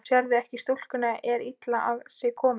Sérðu ekki að stúlkan er illa á sig komin.